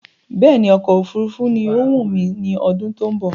Bẹ́ẹ̀ni, ọkọ̀ òfurufú ni ọ wù mí ní ọdún tó ń bọ̀